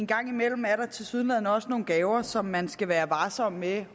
en gang imellem er der tilsyneladende også nogle gaver som man skal være varsom med